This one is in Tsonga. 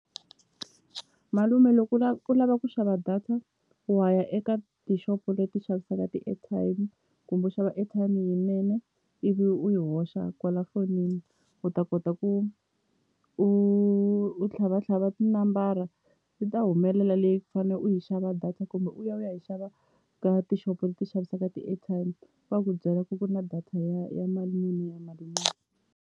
Malume loko u u lava ku xava data wa ya eka tixopo leti xavisaka ti-airtime kumbe u xava airtime yinene ivi u yi hoxa kwala fonini u ta kota ku u u tlhavatlhava tinambara yi ta humelela leyi fane u yi xava data kumbe u ya u ya yi xava ka tishopo leti xavisaka ti-airtime va ku byela ku ku na data ya ya mali muni ya mali muni.